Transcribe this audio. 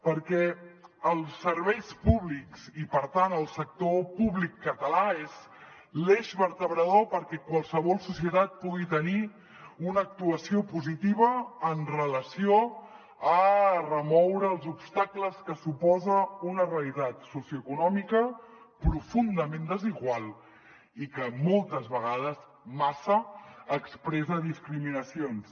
perquè els serveis públics i per tant el sector públic català és l’eix vertebrador perquè qualsevol societat pugui tenir una actuació positiva amb relació a remoure els obstacles que suposa una realitat socioeconòmica profundament desigual i que moltes vegades massa expressa discriminacions